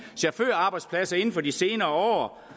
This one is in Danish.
chaufførarbejdspladser inden for de senere